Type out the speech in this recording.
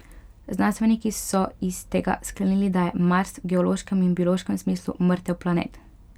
Znanstveniki so iz tega sklenili, da je Mars v geološkem in biološkem smislu mrtev planet.